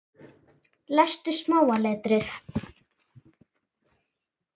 Lestu smáa letrið.